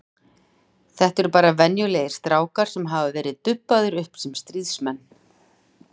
Þetta eru bara venjulegir strákar sem hafa verið dubbaðir upp sem stríðsmenn.